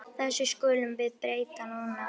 Þessu skulum við breyta núna.